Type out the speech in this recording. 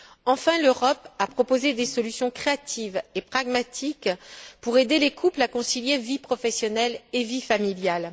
Enfin, l'Europe a proposé des solutions créatives et pragmatiques pour aider les couples à concilier vie professionnelle et vie familiale.